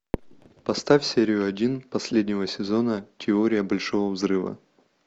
поставь серию один последнего сезона теория большого взрыва